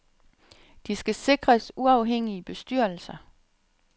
De skal sikres uafhængige bestyrelser.